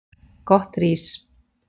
Gott rís.